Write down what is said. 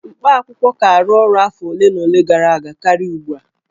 Mkpaakwụkwọ ka arụ ọrụ afọ ole na ole gara aga karịa ugbua